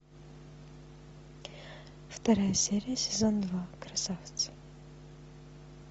вторая серия сезон два красавцы